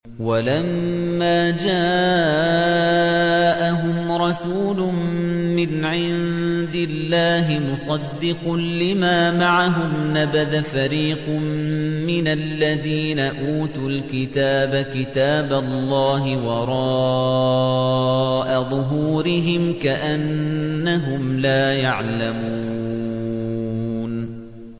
وَلَمَّا جَاءَهُمْ رَسُولٌ مِّنْ عِندِ اللَّهِ مُصَدِّقٌ لِّمَا مَعَهُمْ نَبَذَ فَرِيقٌ مِّنَ الَّذِينَ أُوتُوا الْكِتَابَ كِتَابَ اللَّهِ وَرَاءَ ظُهُورِهِمْ كَأَنَّهُمْ لَا يَعْلَمُونَ